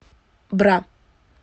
бра